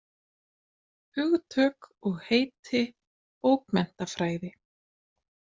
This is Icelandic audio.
Hugtök og heiti bókmenntafræði.